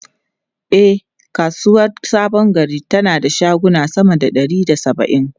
E, kasuwar Sabon Gari tana da shaguna sama da ɗari da saba’in.